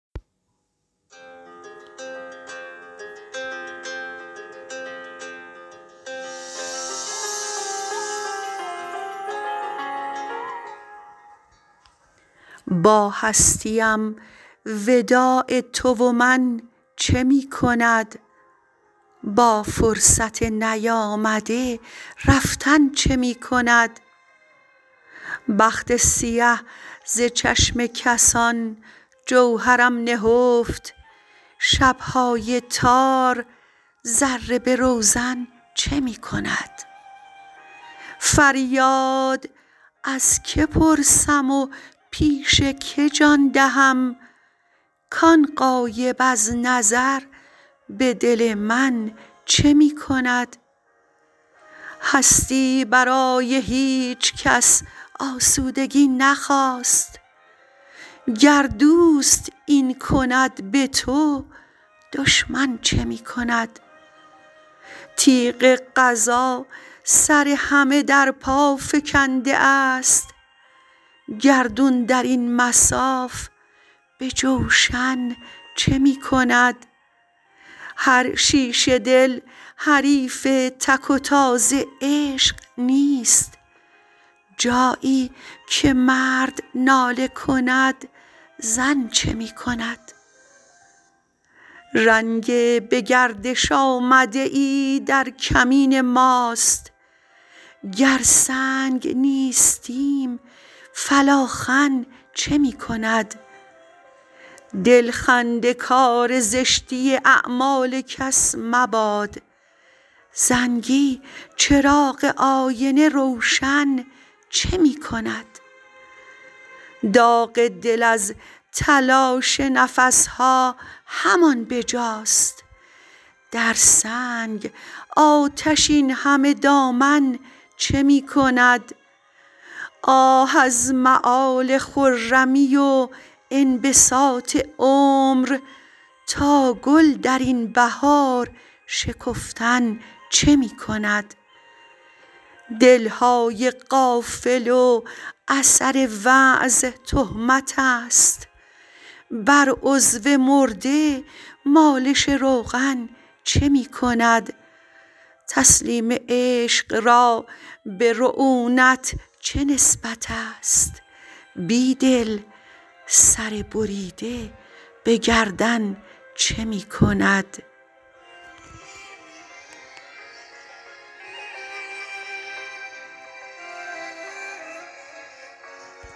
با هستی ام وداع تو و من چه می کند با فرصت نیامده رفتن چه می کند بخت سیه زچشم کسان جوهرم نهفت شبهای تار ذره به روزن چه می کند فریاد از که پرسم و پیش که جان دهم کان غایب از نظر به دل من چه می کند هستی برای هیچکس آسودگی نخواست گر دوست این کند به تو دشمن چه می کند تیغ قضا سر همه درپا فکنده است گردون درین مصاف به جوشن چه می کند هرشیشه دل حریف تک وتاز عشق نیست جایی که مرد ناله کند زن چه می کند رنگ به گردش آمده ای در کمین ماست گر سنگ نیستیم فالاخن چه می کند دل خنده کار زشتی اعمال کس مباد زنگی چراغ آینه روشن چه می کند داغ دل از تلاش نفسها همان بجاست در سنگ آتش اینهمه دامن چه می کند آه از مآل خرمی و انبساط عمر تا گل درین بهار شکفتن چه می کند دلهای غافل و اثر وعظ تهمت است بر عضو مرده مالش روغن چه می کند تسلیم عشق را به رعونت چه نسبت است بید ل سر بریده به گردن چه می کند